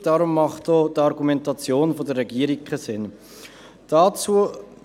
Deshalb ergibt die Argumentation der Regierung keinen Sinn.